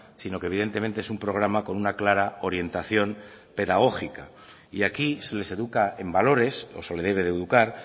sino que evidentemente es un programa con una clara orientación pedagógica y aquí se les educa en valores o se le debe de educar